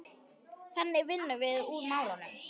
Þannig vinnum við úr málunum